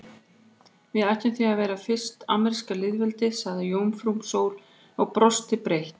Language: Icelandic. Við ættum því að vera fyrsta ameríska lýðveldið, sagði jómfrú Sóley og brosti breitt.